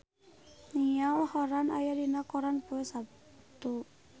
Niall Horran aya dina koran poe Saptu